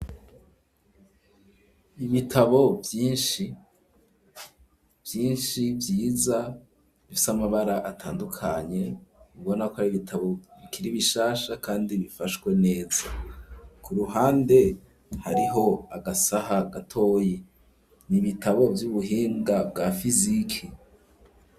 ibitabo vyishi vyiza bifise amabara atandukanye bibona ko ari ibitabo bikiri bishasha kandi bifashwe neza ku ruhande hariho agasaha gatoyi n'ibitabo vy'ubuhinga bwa fizike